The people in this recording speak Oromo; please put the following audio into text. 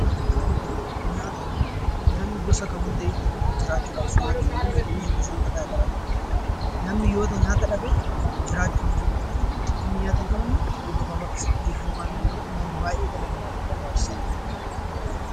Nyaata Nyaanni gosa namni jiraachuudhaaf kan itti fayyadamudha. Kunis gosoota garaagaraa ta'u, namni yoo nyaata dhabe jiraachuu hin danda'u. Namni nyaata hin qabne yeroo gabaabaa keessatti illee du'uu waan danda'uuf nyaanni baayyee dhala namaatiif barbaachisaadha.